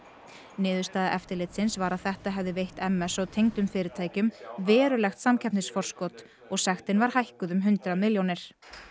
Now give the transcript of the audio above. niðurstaða eftirlitsins var að þetta hefði veitt m s og tengdum fyrirtækjum verulegt samkeppnisforskot og sektin var hækkuð um hundrað milljónir